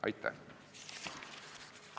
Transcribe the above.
Aitäh!